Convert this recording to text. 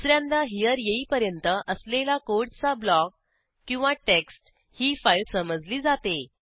दुस यांदा हेरे येईपर्यंत असलेला कोडचा ब्लॉक किंवा टेक्स्ट ही फाईल समजली जाते